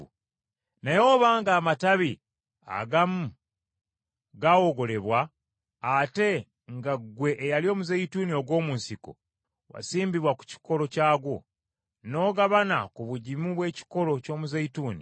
Naye obanga amatabi agamu gaawogolebwa, ate nga ggwe eyali omuzeyituuni ogw’omu nsiko wasimbibwa ku kikolo kyagwo, n’ogabana ku bugimu bw’ekikolo ky’omuzeyituuni,